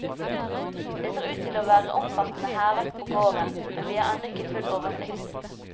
Det ser ut til å være omfattende hærverk på gården, men vi har ennå ikke full oversikt.